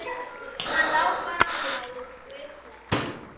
Hann lá bara og lá eins og blaut klessa.